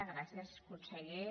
gràcies conseller